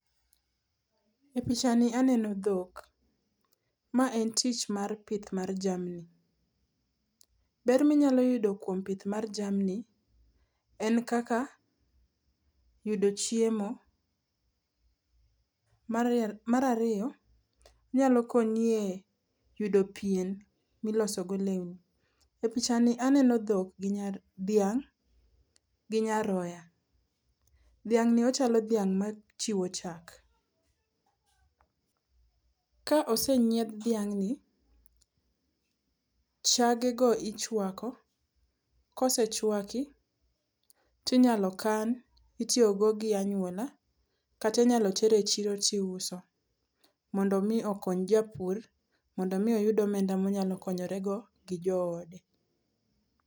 E pichani aneno dhok. Ma en tich mar pith mar jamni. Ber ma inyalo yudo kuom pith mar jamni en kaka yudo chiemo. Mar ariyo, onyalo konyi e yudo pien milosogo lewni. E pichani aneno dhok ginya, dhiang' gi nyaroya. Dhiang' ni ochalo dhiang' machiwo chak. Ka ose nyiedh dhiang' ni, chage go ichuako, kose chuaki to inyalo kan, itiyo go gi anyuola, kata inyalo ter echiro to iuso mondo mi okony japur, mondo mi oyud omenda monyalo konyore go gi joode.